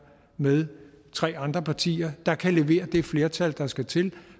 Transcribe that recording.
med tre andre partier der kan levere det flertal der skal til